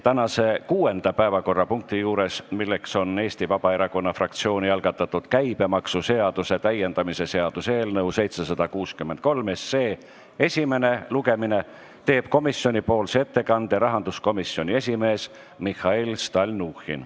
Tänase kuuenda päevakorrapunkti arutelul, Eesti Vabaerakonna fraktsiooni algatatud käibemaksuseaduse täiendamise seaduse eelnõu 763 esimesel lugemisel teeb komisjoni ettekande rahanduskomisjoni esimees Mihhail Stalnuhhin.